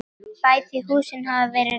Bæði húsin hafa verið rifin.